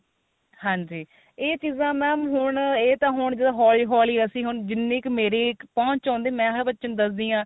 ਹਾਂਜੀ ਇਹ ਚੀਜਾਂ ਨਾ ਹੁਣ ਇਹ ਤਾਂ ਹੁਣ ਜਦੋਂ ਹੋਲੀ ਹੋਲੀ ਅਸੀਂ ਹੁਣ ਜਿੰਨੀ ਕ ਮੇਰੀ ਪਹੁੰਚ ਆਉਂਦੀ ਮੈਂ ਤਾਂ ਬੱਚਿਆ ਨੂੰ ਦੱਸਦੀ ਆ